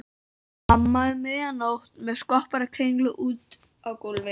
Mamma um miðja nótt með skopparakringlu úti á gólfi.